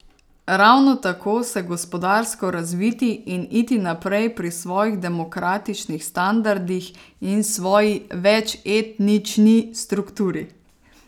Ravno tako se gospodarsko razviti in iti naprej pri svojih demokratičnih standardih in svoji večetnični strukturi.